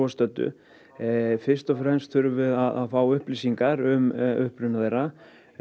stöddu fyrst þurfum við að fá upplýsingar um uppruna þeirra